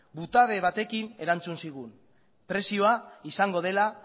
batekin erantzun zigun prezioa izango dela